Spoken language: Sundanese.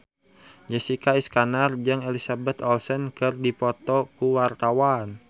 Jessica Iskandar jeung Elizabeth Olsen keur dipoto ku wartawan